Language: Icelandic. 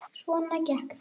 Svona gekk það.